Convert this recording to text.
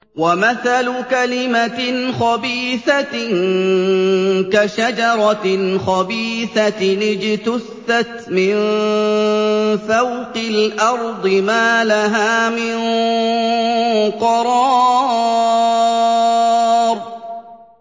وَمَثَلُ كَلِمَةٍ خَبِيثَةٍ كَشَجَرَةٍ خَبِيثَةٍ اجْتُثَّتْ مِن فَوْقِ الْأَرْضِ مَا لَهَا مِن قَرَارٍ